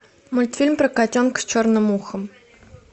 мультфильм про котенка с черным ухом